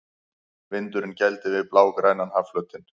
Vindurinn gældi við blágrænan hafflötinn.